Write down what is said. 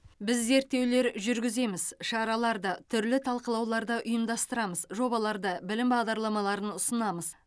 біз зерттеулер жүргіземіз шараларды түрлі талқылауларды ұйымдастырамыз жобаларды білім бағдарламаларын ұсынамыз